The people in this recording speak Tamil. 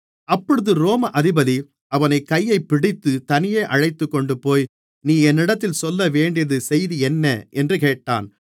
அப்பொழுது ரோம அதிபதி அவனுடைய கையைப்பிடித்துத் தனியே அழைத்துக்கொண்டுபோய் நீ என்னிடத்தில் சொல்லவேண்டிய செய்தி என்ன என்று கேட்டான்